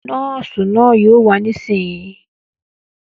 Nọ́ọ̀sì náà yóò wà nísìínyi